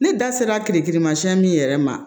Ne da sera kirikirimasiyɛn min yɛrɛ ma